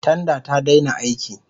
Tanda ta daina aiki.